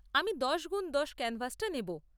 আমি দশ গুণ দশ ক্যানভাসটা নেব।